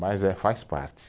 Mas é, faz parte.